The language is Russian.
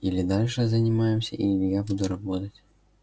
или дальше занимаемся или я буду работать